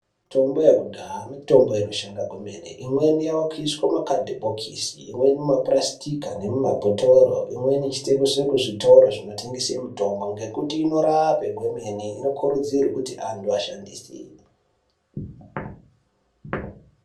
Mitombo yekudhaya mitombo inoshanda kwemene. Imweni yakuiswe mumakhadhibhokisi, imweni mumapurasitika nemumabhotoro. Imweni yechitengeswe kuzvitoro zvinotengese mitombo, ngekuti inorape gwemene inokurudzirwe kuti antu ashandise.